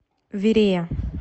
верея